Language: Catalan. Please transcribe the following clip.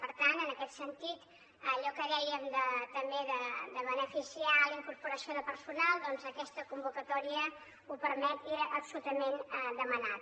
per tant en aquest sentit allò que dèiem també de beneficiar la incorporació de personal aquesta convocatòria ho permet i era absolutament demanat